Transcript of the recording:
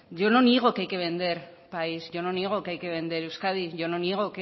yo no niego que hay que vender país yo no niego que hay que vender euskadi yo no niego